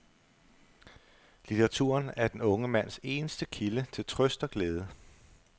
Litteraturen er den unge mands eneste kilde til trøst og glæde.